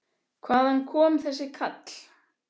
Hvaðan kom þessi kall?